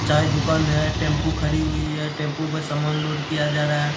चाय दुकान है टेम्पू खड़ी हुई है टेम्पू में सामान लोड किया जा रहा है